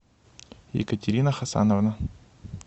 екатерина хасановна